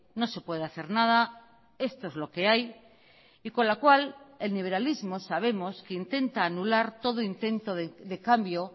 no se puede hacer nada esto es lo que hay y con la cual el liberalismo sabemos que intenta anular todo intento de cambio